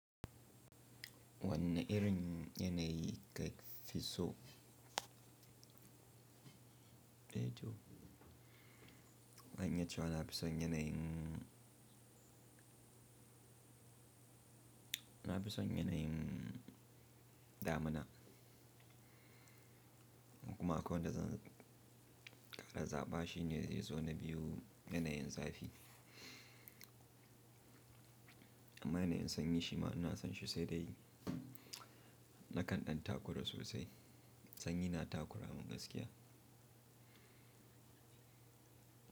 Wannan irin yanayi kai fisso. E to? Zan iya ce wa nafi son yanayin, nafi son yanayin damina. Kuma kawai da zan ƙara zaɓa shi ne zai zo na biyu yanayin zafi. Amma yanayin sanyi shima ina son shi sai dai nakan ɗan takura sosai. Sanyi na takura mun gaskiya.